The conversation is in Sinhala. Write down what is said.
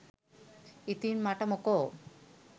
ඉතින් මට මොකෝ